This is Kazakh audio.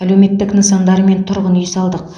әлеуметтік нысандар мен тұрғын үй салдық